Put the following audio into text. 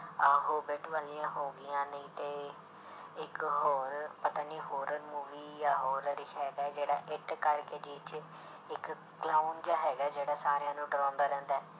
ਆਹ ਵਾਲੀਆਂ ਹੋ ਗਈਆਂ ਨਹੀਂ ਤੇ ਇੱਕ ਹੋਰ ਪਤਾ ਨੀ horror movie ਜਾਂ ਹੈਗਾ ਜਿਹੜਾ ਕਰਕੇ ਜਿਹ 'ਚ ਇੱਕ clown ਜਿਹਾ ਹੈਗਾ ਜਿਹੜਾ ਸਾਰਿਆਂ ਨੂੰ ਡਰਾਉਂਦਾ ਰਹਿੰਦਾ ਹੈ।